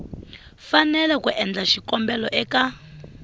fanele ku endla xikombelo eka